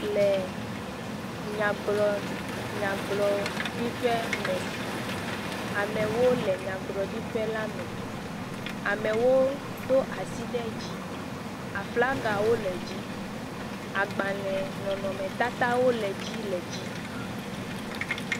Le nyagblɔ nyagblɔɖiƒe me amewo le nyagblɔɖiƒe la me. Amewo do asi ɖe dzi. Aflagawo le dzi, agbalẽ nɔnɔmetatawo le dzi le dzi.